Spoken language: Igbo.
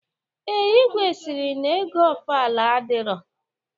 Ee, igwe sịrị na ego ofala adirọ